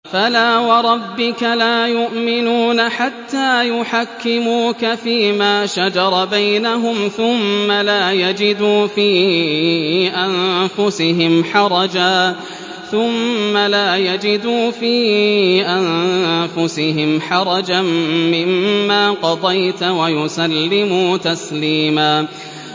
فَلَا وَرَبِّكَ لَا يُؤْمِنُونَ حَتَّىٰ يُحَكِّمُوكَ فِيمَا شَجَرَ بَيْنَهُمْ ثُمَّ لَا يَجِدُوا فِي أَنفُسِهِمْ حَرَجًا مِّمَّا قَضَيْتَ وَيُسَلِّمُوا تَسْلِيمًا